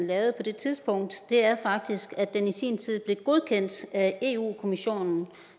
lavet på det tidspunkt er faktisk at den i sin tid blev godkendt af europa kommissionen